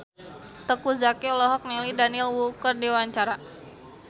Teuku Zacky olohok ningali Daniel Wu keur diwawancara